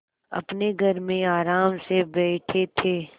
अपने घर में आराम से बैठे थे